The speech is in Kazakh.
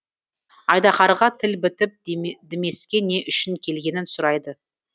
айдаһарға тіл бітіп дімеске не үшін келгенін сұрайды